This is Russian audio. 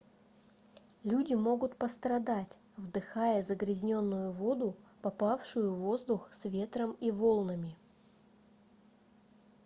люди могут пострадать вдыхая загрязненную воду попавшую в воздух с ветром и волнами